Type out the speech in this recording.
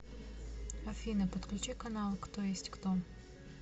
афина подключи канал кто есть кто